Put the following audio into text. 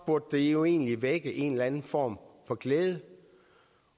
burde jo egentlig vække en eller anden form for glæde